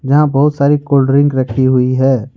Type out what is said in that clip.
यहां बहुत सारी कोल्ड ड्रिंक रखी हुई है।